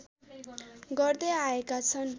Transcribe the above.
गर्दै आएका छन्